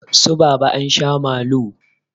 Su baba ansha malu